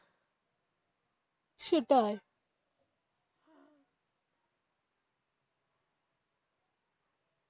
সেটাই.